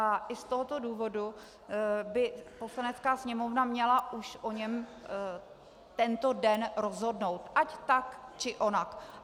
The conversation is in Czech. A i z tohoto důvodu by Poslanecká sněmovna už měla o něm tento den rozhodnout - ať tak, či onak.